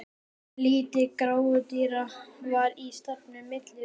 Lítil grútartýra var í stafninum milli rúmanna.